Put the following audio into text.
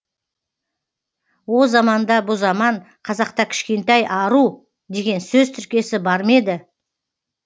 о заман да бұ заман қазақта кішкентай ару деген сөз тіркесі бар ма еді